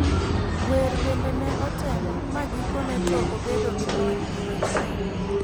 wer bende ne otemo ,ma gikone to obedo gi lony e weche wer.